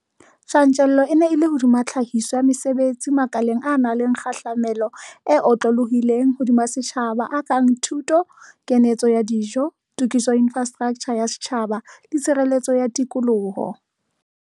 Tjantjello e ne e le hodima tlhahiso ya mesebetsi makaleng a nang le kgahlamelo e otlolohileng hodima setjhaba a kang thuto, kanetso ya dijo, tokiso ya infrastraktjha ya setjhaba le tshireletso ya tikoloho.